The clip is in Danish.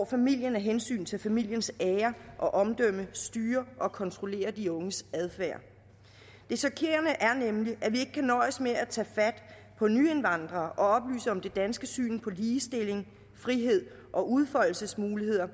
familien af hensyn til familiens ære og omdømme styrer og kontrollerer de unges adfærd det chokerende er nemlig at vi ikke kan nøjes med at tage fat på nyindvandrere og oplyse om det danske syn på ligestilling frihed og udfoldelsesmuligheder